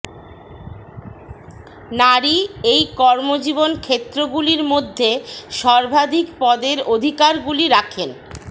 নারী এই কর্মজীবন ক্ষেত্রগুলির মধ্যে সর্বাধিক পদের অধিকারগুলি রাখেন